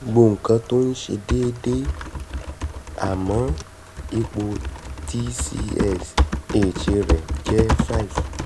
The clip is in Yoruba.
gbogbo nǹkan tó ń ṣe ṣe déédé àmọ́ ipò tsh rẹ̀ um jẹ́ five